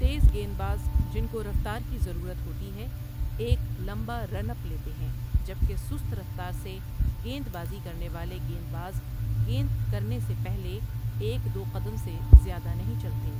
تیز گیند باز، جن کو رفتار کی ضرورت ہوتی ہے، ایک لمبا رن اپ لیتے ہیں جب کہ سست رفتار سے گیند بازی کرنے والے گیند باز گیند کرنے سے پہلے ایک دو قدم سے زیادہ نہیں چلتے۔